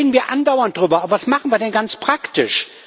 Darüber reden wir andauernd, aber was machen wir denn ganz praktisch?